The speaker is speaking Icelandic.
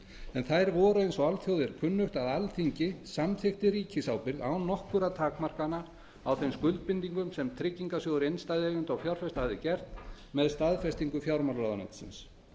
en þær voru eins og alþjóð er kunnugt að alþingi samþykkti ríkisábyrgð án nokkurra takmarkana á þeim skuldbindingum sem tryggingarsjóður innstæðueigenda og fjárfesta hafði gert með staðfestingu fjármálaráðuneytisins